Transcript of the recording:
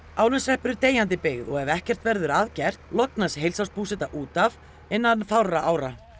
Árneshreppur er deyjandi byggð og ef ekkert verður að gert lognast út af innan fárra ára